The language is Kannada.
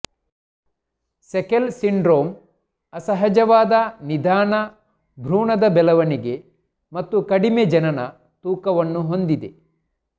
ಸೆಕೆಲ್ ಸಿಂಡ್ರೋಮ್ ಅಸಹಜವಾದ ನಿಧಾನ ಭ್ರೂಣದ ಬೆಳವಣಿಗೆ ಮತ್ತು ಕಡಿಮೆ ಜನನ ತೂಕವನ್ನು ಹೊಂದಿದೆ